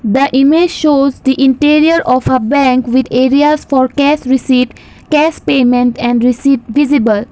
the image shows the interior of a bank with areas for cash receipt cash payment and received visible.